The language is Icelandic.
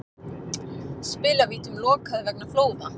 Spilavítum lokað vegna flóða